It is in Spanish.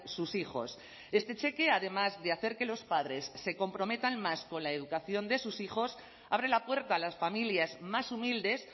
sus hijos este cheque además de hacer que los padres se comprometan más con la educación de sus hijos abre la puerta a las familias más humildes